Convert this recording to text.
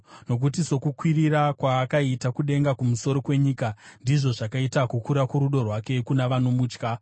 Nokuti sokukwirira kwaakaita kudenga kumusoro kwenyika, ndizvo zvakaita kukura kworudo rwake kuna vanomutya;